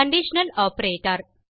conditional operator